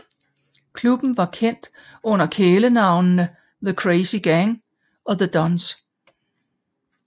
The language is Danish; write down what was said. Klubben var kendt under kælenavnene The Crazy Gang og The Dons